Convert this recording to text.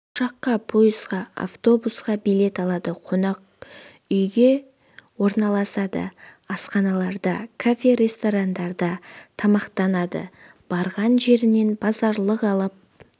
ұшаққа пойызға автобусқа билет алады қонақүйге орналасады асханаларда кафе ресторандарда тамақтанады барған жерінен базарлық алып